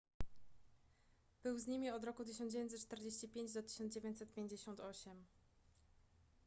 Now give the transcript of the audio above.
był z nimi od roku 1945 do 1958